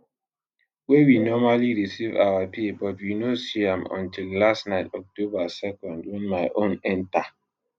wey we normally receive our pay but we no see am until last night october 2 wen my own enta